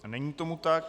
Není tomu tak.